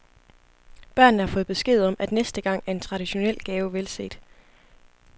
Børnene har fået besked om, at næste gang er en traditionel gave velset.